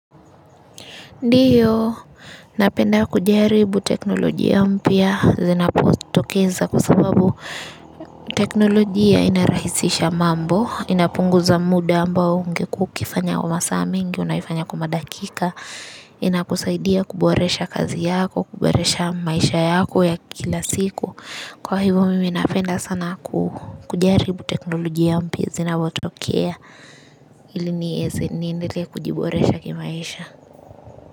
Ndiyo, napenda kujaribu teknolojia mpya, zinapotokeza kwa sababu teknolojia inarahisisha mambo, inapunguza muda ambao ungekuwa ukifanya kwa masaa mengi, unaifanya kwa madakika, inakusaidia kuboresha kazi yako, kuboresha maisha yako ya kila siku. Kwa hivyo mimi napenda sana kujaribu teknolojia mpya, zinapotokea ili nieze niendelee kujiboresha kimaisha.